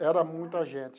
Era muita gente.